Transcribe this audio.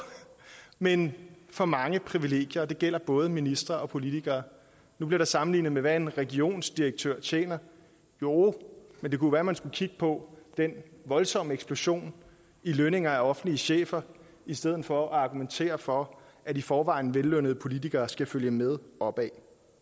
men for mange privilegier og det gælder både ministre og politikere nu bliver der sammenlignet med hvad en regionsdirektør tjener jo men det kunne være man skulle kigge på den voldsomme eksplosion i lønninger til offentlige chefer i stedet for at argumentere for at i forvejen vellønnede politikere skal følge med opad